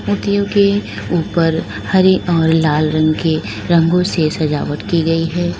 क्योंकि ऊपर हरे और हरे लाल रंग के रंगों से सजावट की गई है।